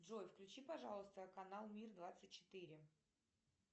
джой включи пожалуйста канал мир двадцать четыре